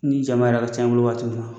Ni jama yɛrɛ ka ca i bolo wagati min na